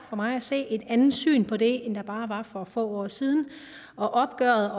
for mig at se et andet syn på det end der bare få år siden og opgøret